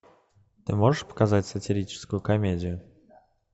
ты можешь показать сатирическую комедию